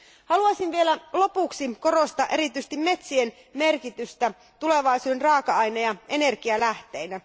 Haluaisin vielä lopuksi korostaa erityisesti metsien merkitystä tulevaisuuden raaka aine ja energialähteinä.